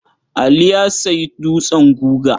Ali ya sayi dutsen guga.